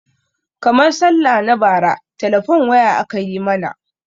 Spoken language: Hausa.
Karmar sallah na bara telefone waya aka yi mana